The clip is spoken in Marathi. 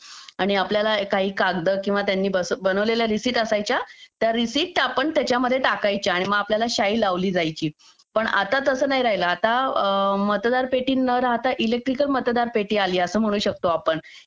आणि आपल्याला काही कागद किंवा त्यांनी बनवलेल्या रिसीट असायच्या त्या रिसीट आपण त्याच्यामध्ये टाकायचं आणि मग आपल्याला शाई लावली जायची पण आता तसं नाही राहिलं आता मतदार पेटी न राहता इलेक्ट्रिक मतदार पेटी आली असं म्हणू शकतो आपण